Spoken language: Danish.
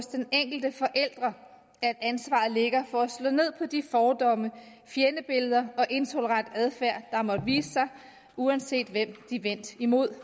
den enkelte forælder at ansvaret ligger for at slå ned på de fordomme fjendebilleder og intolerant adfærd der måtte vise sig uanset hvem det er vendt imod